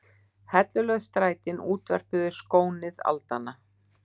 Hellulögð strætin útvörpuðu skónið aldanna.